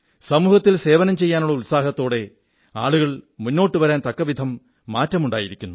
സമൂഹത്തിൽ സേവനം ചെയ്യാനുള്ള ഉത്സാഹത്തോടെ ആളുകൾ മുന്നോട്ടു വരാൻ തക്കവിധം മാറ്റമുണ്ടായിരിക്കുന്നു